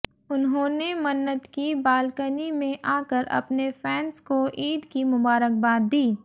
उन्होंने मन्नत की बालकनी में आकर अपने फैंस को ईद की मुबारकबाद दी